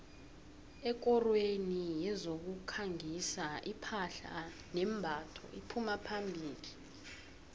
ekorweni yezokukhangisa iphahla nembatho iphuma phambili